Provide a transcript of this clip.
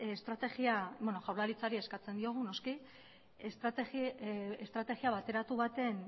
estrategia beno jaurlaritzari eskatzen diogu noski estrategia bateratu baten